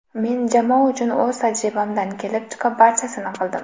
Men jamoa uchun o‘z tajribamdan kelib chiqib barchasini qildim.